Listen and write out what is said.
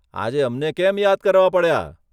આજે અમને કેમ યાદ કરવા પડ્યા?